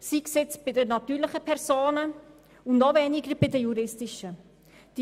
Dies soll nicht bei den natürlichen Personen geschehen, und erst recht nicht bei den juristischen Personen.